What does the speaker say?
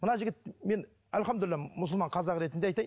мына жігіт мен альхамдулиллах мұсылман қазақ ретінде айтайын